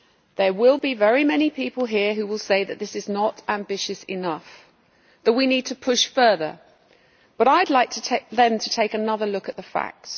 There will be very many people here who will say that this is not ambitious enough, that we need to push further, but I would like them to take another look at the facts.